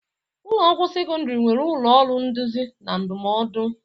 Ụlọ akwụkwọ sekọndrị nwere ụlọ ọrụ nduzi na ndụmọdụ.